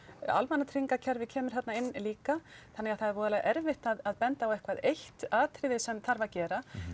almannatryggingakerfið kemur þarna inn líka þannig að það er voða erfitt að benda á eitthvað eitt atriði sem þarf að gera